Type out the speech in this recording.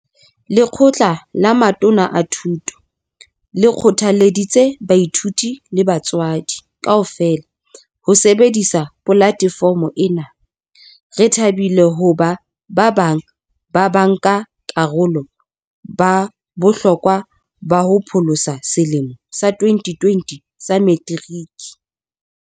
Lekgotla la Matona a Thuto le kgothalleditse baithuti le batswadi kaofela ho sebedisa polatefomo ena. Re thabile hoba ba bang ba banka karolo ba bohlokwa ba ho pholosa selemo sa 2020 sa Meteriki.